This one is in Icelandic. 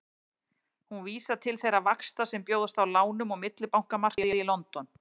Hún vísar til þeirra vaxta sem bjóðast á lánum á millibankamarkaði í London.